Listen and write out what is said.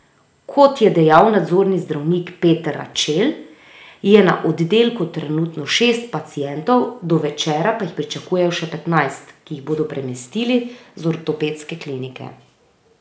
Kot je dejal nadzorni zdravnik Peter Radšel, je na oddelku trenutno šest pacientov, do večera pa jih pričakujejo še petnajst, ki jih bodo premestili z ortopedske klinike.